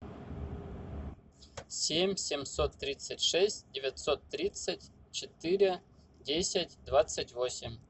семь семьсот тридцать шесть девятьсот тридцать четыре десять двадцать восемь